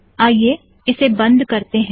आईये इसे बंद करते हैं